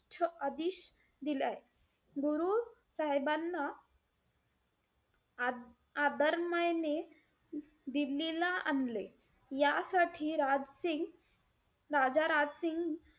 आदिश दिलय. गुरु साहेबांना आ~ आदरमायने दिल्लीला आणले. यासाठी राजसिंग राजा राजसिंग,